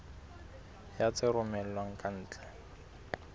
ya tse romellwang ka ntle